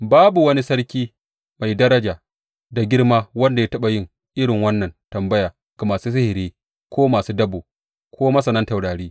Babu wani sarki mai daraja da girma wanda ya taɓa yin irin wannan tambaya ga masu sihiri ko masu dabo ko masanan taurari.